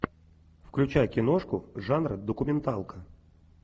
включай киношку жанра документалка